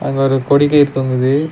அங்க ஒரு கொடி கயிறு தொங்குது.